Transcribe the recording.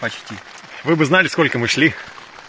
почти вы бы знали сколько мы шли